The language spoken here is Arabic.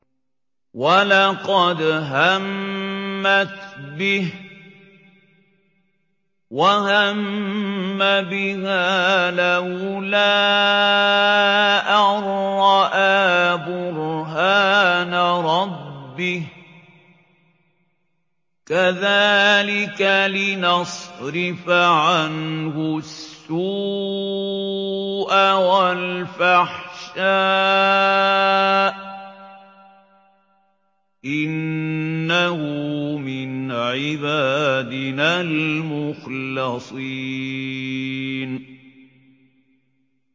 وَلَقَدْ هَمَّتْ بِهِ ۖ وَهَمَّ بِهَا لَوْلَا أَن رَّأَىٰ بُرْهَانَ رَبِّهِ ۚ كَذَٰلِكَ لِنَصْرِفَ عَنْهُ السُّوءَ وَالْفَحْشَاءَ ۚ إِنَّهُ مِنْ عِبَادِنَا الْمُخْلَصِينَ